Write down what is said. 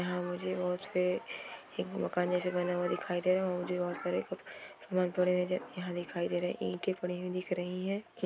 यहाँ मुझे और से एक मकान जैसा बना हुआ दिखाई दे रहा है मुझे और सारे समान पड़े हुए यहाँ दिखाई दे रहे है ईटे पड़ी हुई दिख रही है।